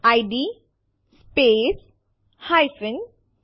આ આદેશ નો ઉપયોગ ફાઈલો રદ કરવા માટે થાય છે